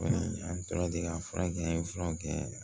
Kɔni an tora ten ka fura kɛ an ye fura kɛ